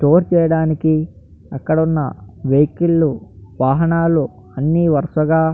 store అక్కడ ఉన్న vehicle లు వాహనాలు అన్ని వరసగా --